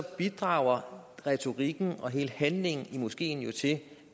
bidrager retorikken og hele handlingen i moskeen jo til